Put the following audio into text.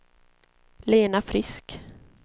Lena Frisk